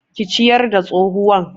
Ki ciyar da tsohuwan